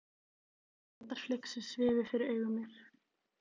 Svartar flygsur svifu fyrir augum mér.